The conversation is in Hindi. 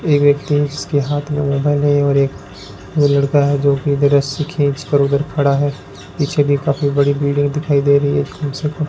एक व्यक्ति है जिसके हाथ में मोबाइल है और एक वो लड़का है जो कि रस्सी खींच कर उधर खड़ा है पीछे भी काफी बड़ी भीड़ है दिखाई दे रही है कम से कम --